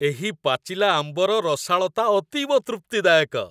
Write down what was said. ଏହି ପାଚିଲା ଆମ୍ବର ରସାଳତା ଅତୀବ ତୃପ୍ତିଦାୟକ।